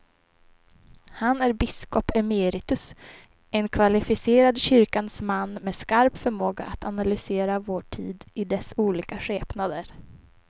Han är biskop emeritus, en kvalificerad kyrkans man med skarp förmåga att analysera vår tid i dess olika skepnader.